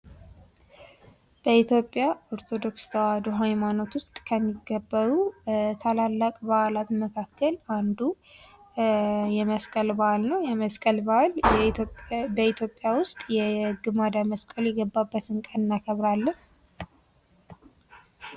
በኢትዮጵያ ኦርቶዶክስ ተዋህዶ ሀይማኖትዉስጥ ከሚከበሩ ታላላቅ በዓላት መካከል አንዱ የመስቀል በዓል ነዉ። የመስቀል በዓል ግማደ መስቀሉ የገባበትን ቀን እናከብራለን።